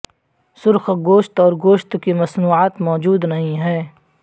سرخ گوشت اور گوشت کی مصنوعات موجود نہیں ہیں